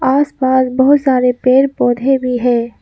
आसपास बहुत सारे पेड़ पौधे भी हैं।